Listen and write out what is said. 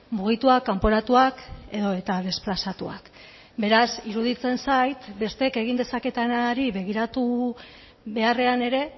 mugituak kanporatuak edota desplazatuak beraz iruditzen zait besteek egin dezaketenari begiratu beharrean ere